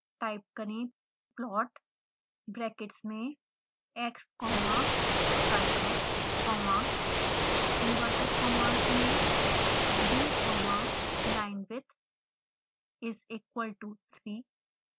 type करें plot brackets में x comma sinx comma inverted commas में b comma linewidth is equal to 3